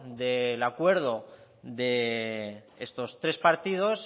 del acuerdo de estos tres partidos